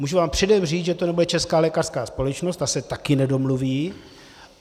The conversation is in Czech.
Můžu vám předem říct, že to nebude Česká lékařská společnost, ta se taky nedomluví.